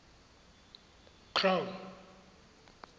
crown